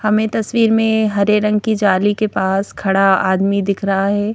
हमें तस्वीर में हरे रंग की जाली के पास खड़ा आदमी दिख रहा है।